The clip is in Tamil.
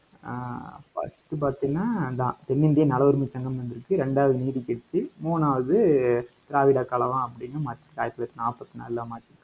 ஆஹ் first பாத்திங்கன்னா அதான் தென்னிந்திய நல உரிமை சங்கம்ன்னு வந்திருக்கு. இரண்டாவது நீதிக்கட்சி. மூணாவது திராவிட கழகம் அப்படின்னு மாத்திருக்காரு, ஆயிரத்தி தொள்ளாயிரத்தி நாற்பத்தி நாலுல மாத்தி